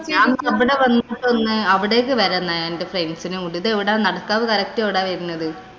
ഞാനവിട അവിടേക്ക് വരുന്നു എന്‍റെ friends നേം കൂട്ടിട്ട്. ഇത് എവിടാ? നടക്കാവ് correct എവിടാ വരുന്നത്.